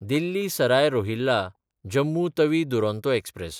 Delhi Sarai रोहिल्ला–जम्मू Tawi Duronto express